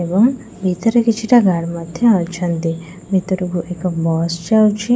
ଏବଂ ଭିତରେ କିଛିଟା ଗାର୍ଡ ମଧ୍ୟ ଅଛନ୍ତି ଭିତରକୁ ଏକ ବସ୍ ଯାଉଛି।